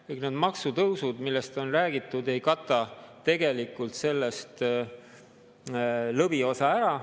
Kõik need maksutõusud, millest on räägitud, ei kata tegelikult sellest lõviosa ära.